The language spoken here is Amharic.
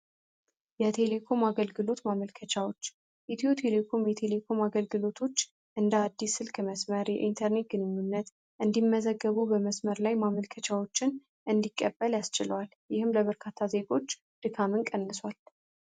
የቴሌኮም አገልግሎት ማመልከቻዎች ኢትዮ ቴሌኮም የቴሌኮም አገልግሎቶች እንደ አዲስ ስልክ መስመር የኢንተርኔት ግንኙነት እንዲመዘገቡ በመስመር ላይ ማመልከቻዎችን እንዲቀበል ያስችለዋል ይህም ለበርካታ ዜጎች ድካምን ቀንሷል